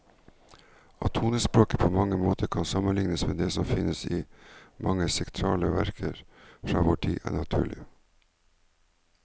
At tonespråket på mange måter kan sammenlignes med det som finnes i mange sakrale verker fra vår tid, er naturlig.